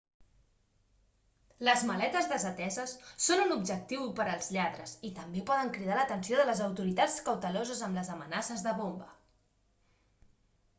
les maletes desateses són un objectiu per als lladres i també poden cridar l'atenció de les autoritats cauteloses amb les amenaces de bomba